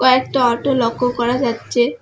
একটা অটো লক্ষ্য করা যাচ্ছে।